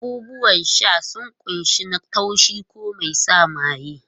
Abubuwan sha sun kunshi na taushi ko mai sa maye.